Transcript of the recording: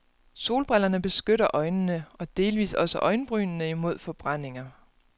Solbrillerne beskytter øjnene og delvis også øjenbrynene imod forbrændinger.